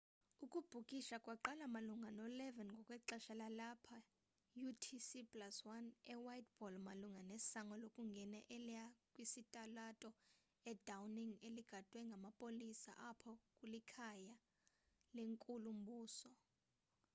ukubhikisha kwaqala malunga no-11:00 ngokwexesha lalapha utc+1 e whiteball malunga nesango lokungena eliya kwisitalato i downing eligadwe ngamapolisa apho kulikhaya lenkulu mbuso